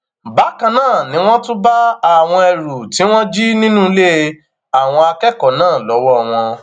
bákan náà ni wọn tún bá àwọn ẹrù tí wọn jí nínú ilé àwọn akẹkọọ náà lọwọ wọn